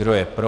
Kdo je pro?